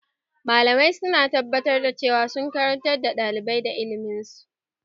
Malamai su na tabbatar da cewa sun karantar da ɗalibai da ilimin su